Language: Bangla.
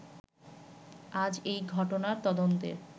আজ এই ঘটনা তদন্তের